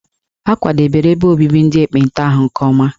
A kwadebere ebe obibi ndị ekpenta ahụ nke ọma.